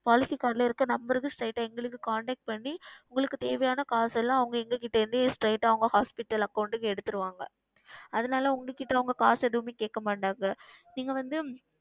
Policy Card ல இருக்க Number க்கு Straight ஆ எங்களை Contact செய்து உங்களுக்கு தேவையான காசு எல்லாம் அவர்கள் எங்களிடம் இருந்து காசு எல்லாம் Straight ஆ அவர்கள் Hospital Account க்கு எடுத்திருவார்கள் அதுனால் அவர்கள் உங்களிடம் காசு எதுவும் கேட்க மாட்டார்கள் நீங்கள் வந்து